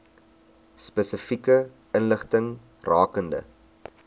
spesifieke inligting rakende